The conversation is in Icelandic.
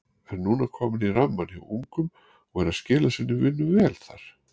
Er núna kominn í rammann hjá ungum og er að skila sinni vinnu vel þar.